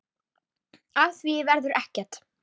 Af því verður ekki.